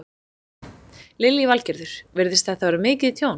Lillý Valgerður: Virðist þetta vera mikið tjón?